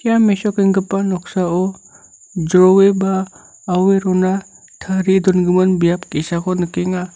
ia mesokenggipa noksao jroe ba aue rona tarie dongimin biap ge·sako nikenga.